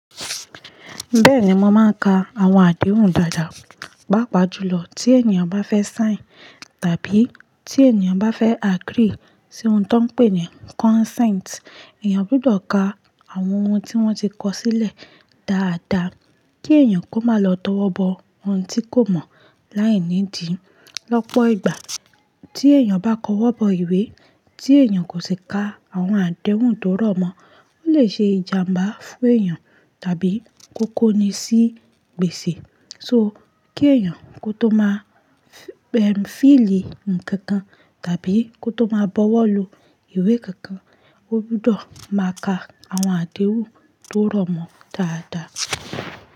Bẹ́ẹ̀ni, mọ́ máa ń ka àwọn àdéhùn dáadáa, pàápàá jùlọ tí ènìyàn bá fẹ́ sign tàbí tí ènìyàn bá fẹ́ agree sí ohun tó ń pè ní consent. Eẹ̀yàn gbudọ̀ ka àwọn ohun tí wọ́n ti kọ sílẹ̀ dáadáa kí èèyàn kó má lọ tó wọ́ bọ ohun tí kò mọ̀ láìnídí. Lọ́pọ̀ ìgbà, tí èèyàn bá kọ́ wọ́ bọ ìwé tí èèyàn kò sì ka àwọn àdéhùn tó rọ̀mọ́, ó lè ṣe ìjàmbá fún èèyàn tàbí kó kóni sí gbèsè. So kí èèyàn kó tó má fill nkankan tàbí kó tó má bọwọ́ lu ìwé kankan, ó gbudọ̀ máa ka àwọn àdéhùn tó rọ̀mọ́ dáadáa.